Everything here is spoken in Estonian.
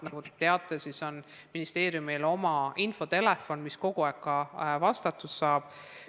Nagu te teate, ministeeriumil on oma infotelefon, mis kogu aeg pöördumistele vastab.